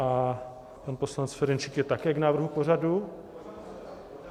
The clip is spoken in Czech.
A pan poslanec Ferjenčík je také k návrhu pořadu?